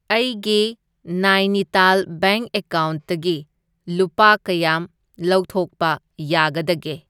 ꯑꯩꯒꯤ ꯅꯥꯏꯅꯤꯇꯥꯜ ꯕꯦꯡꯛ ꯑꯦꯀꯥꯎꯟꯠꯇꯒꯤ ꯂꯨꯄꯥ ꯀꯌꯥꯝ ꯂꯧꯊꯣꯛꯄ ꯌꯥꯒꯗꯒꯦ?